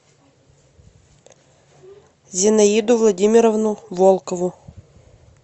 зинаиду владимировну волкову